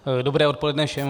Dobré odpoledne všem.